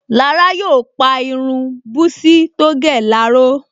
Lára yóò pa irun búsí tó gẹ̀ láró